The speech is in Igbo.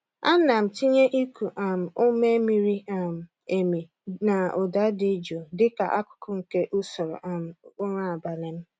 Ana m tinye iku um ume miri um emi na ụda dị jụụ dịka akụkụ nke usoro um ụra abalị m.